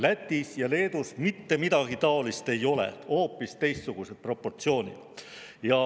Lätis ja Leedus mitte midagi taolist ei ole, on hoopis teistsugused proportsioonid.